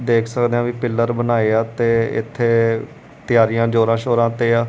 ਦੇਖ ਸਕਦੇ ਆ ਵੀ ਪਿੱਲਰ ਬਣਾਏ ਆ ਤੇ ਇੱਥੇ ਤਿਆਰੀਆਂ ਜ਼ੋਰਾਂ-ਸ਼ੋਰਾਂ ਤੇ ਆ।